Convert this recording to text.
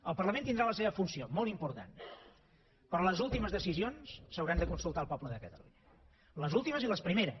el parlament tindrà la seva funció molt important però les últimes decisions s’hauran de consultar al poble de catalunya les últimes i les primeres